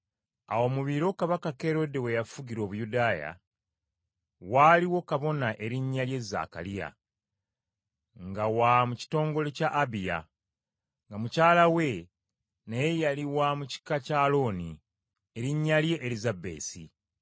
Awo mu biro Kabaka Kerode we yafugira Obuyudaaya, waaliwo kabona erinnya lye Zaakaliya, nga wa mu kitongole kya Abiya, nga mukyala we naye yali wa mu kika kya Alooni, erinnya lye Erisabesi.